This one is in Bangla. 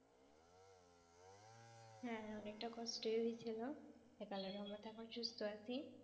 হ্যাঁ অনেকটা কষ্ট ই হয়েছিল। এখন সুস্থ আছি।